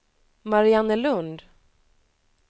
Mariannelund